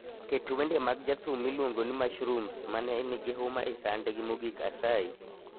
ket wende mag jathum miluongo ni mushrooms mane nigihuma ei sandgi mogik asayi